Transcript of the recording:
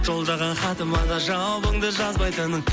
жолдаған хатыма да жауабыңды жазбайтының